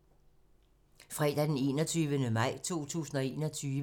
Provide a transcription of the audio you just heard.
Fredag d. 21. maj 2021